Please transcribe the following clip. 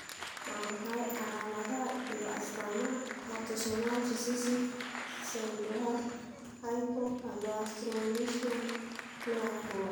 Waa maxay calaamadaha iyo astamaha Autosomal recessive pseudohypoaldosteronism nooca kowaad